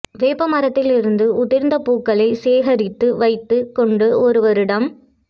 வேப்ப மரத்திலிருந்து உதிர்ந்த பூக்களைச் சேகரித்து வைத்துக் கொண்டு ஒரு வருடம்